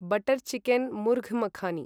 butter chicken murgh makhani